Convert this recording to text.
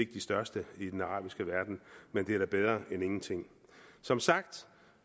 de største i den arabiske verden men det er da bedre end ingenting som sagt